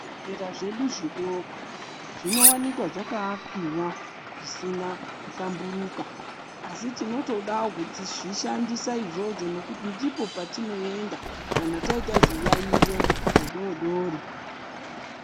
Zvibhedhlera zvedu zvidoko, zvinowanikwa zvakaakiwa zvisina kuhlamburuka, asi tinotodawo kutozvishandisa izvozvo, ngekuti ndipo patinoenda kana taitawo zviyaiyo zvidoodori.